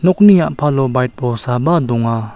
okni a·palo baik bolsaba donga.